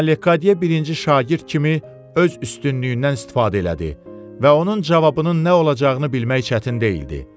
Amma Lekqadiya birinci şagird kimi öz üstünlüyündən istifadə elədi və onun cavabının nə olacağını bilmək çətin deyildi.